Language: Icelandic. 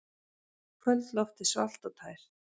Kvöldloftið svalt og tært.